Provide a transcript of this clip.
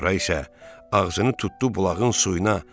Sonra isə ağzını tutdu bulağın suyuna.